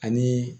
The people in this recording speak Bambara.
Ani